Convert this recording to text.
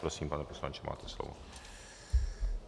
Prosím, pane poslanče, máte slovo.